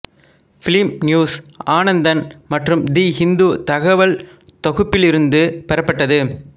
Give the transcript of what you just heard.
film news Anandan மற்றும் the Hindu தகவல் தொகுப்பிலிருந்து பெறப்பட்டது